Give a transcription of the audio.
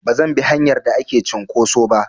Bazan bi hanyar da ake cinƙoso ba.